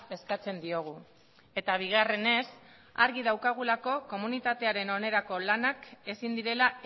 eskatzen diogu eta bigarrenez argi daukagulako komunitatearen onerako lanak ezin direla